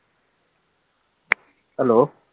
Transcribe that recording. hello